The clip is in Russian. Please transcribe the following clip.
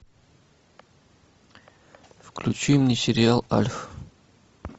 включи мне сериал альф